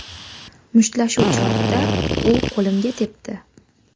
Mushtlashuv chog‘ida u qo‘limga tepdi.